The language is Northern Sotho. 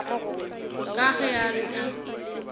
ka ge a re a